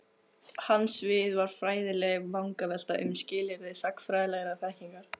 Hans svið var fræðileg vangavelta um Skilyrði Sagnfræðilegrar Þekkingar.